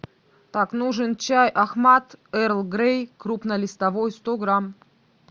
так нужен чай ахмад эрл грей крупнолистовой сто грамм